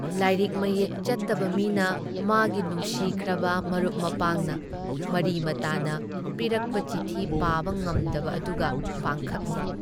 ꯂꯥꯏꯔꯤꯛ ꯃꯌꯦꯛ ꯆꯠꯇꯕ ꯃꯤꯅ ꯃꯥꯒꯤ ꯅꯨꯡꯁꯤꯈ꯭ꯔꯕ ꯃꯔꯨꯞ ꯃꯄꯥꯡꯅ, ꯃꯔꯤ ꯃꯇꯥꯅ ꯄꯤꯔꯛꯄ ꯆꯤꯊꯤ ꯄꯥꯕ ꯉꯝꯗꯕ ꯑꯗꯨꯒ ꯄꯥꯡꯈꯛꯅꯤ ꯫